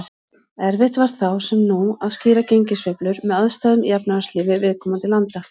Erfitt var þá, sem nú, að skýra gengissveiflur með aðstæðum í efnahagslífi viðkomandi landa.